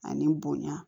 Ani bonya